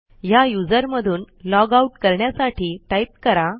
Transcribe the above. ह्या यूझर मधून लॉगआउट करण्यासाठी टाईप करा